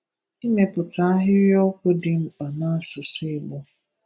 Ịmeputa ahịrịokwu dị mkpa n’asụsụ Igbo.